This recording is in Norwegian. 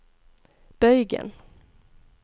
bøygen